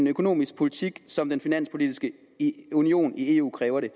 økonomiske politik som den finanspolitiske union i eu kræver det